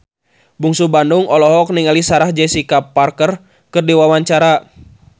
Bungsu Bandung olohok ningali Sarah Jessica Parker keur diwawancara